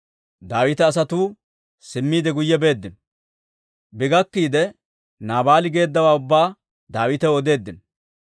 Daawita asatuu simmiide guyye beeddino. Bi gakkiide Naabaali geeddawaa ubbaa Daawitaw odeeddino.